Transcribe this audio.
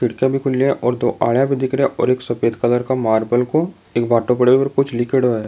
खिड़किया भी खुली है और दो आलिया भी दिख रही है और एक सफ़ेद कलर को मार्बल को एक भाटो पड़यो है बि पर कुछ लिखेड़ो है।